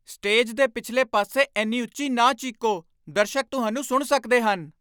Stage ਦੇ ਪਿਛਲੇ ਪਾਸੇ ਇੰਨੀ ਉੱਚੀ ਨਾ ਚੀਕੋ। ਦਰਸ਼ਕ ਤੁਹਾਨੂੰ ਸੁਣ ਸਕਦੇ ਹਨ।